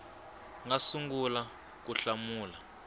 nga si sungula ku hlamula